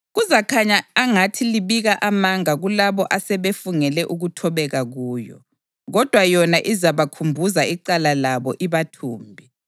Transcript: Kuzakhanya angathi libika amanga kulabo asebefungele ukuthobeka kuyo, kodwa yona izabakhumbuza icala labo ibathumbe.